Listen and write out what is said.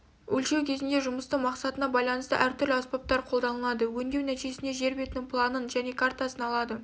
өлшеу кезінде жұмыстың мақсатына байланысты әртүрлі аспаптар қолданылады өңдеу нәтижесінде жер бетінің планын және картасын алады